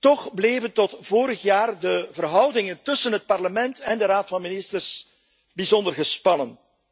Toch bleven tot vorig jaar de verhoudingen tussen het Parlement en de Raad van Ministers bijzonder gespannen.